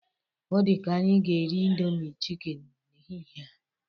Ọ dịka anyị ga-eri indomi chikini n'ehihe a.